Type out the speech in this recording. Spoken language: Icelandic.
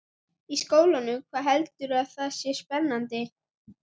Í skólanum, hvað heldurðu að það sé spennandi?